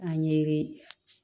A ɲɛ ye